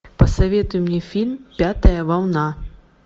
посоветуй мне фильм пятая волна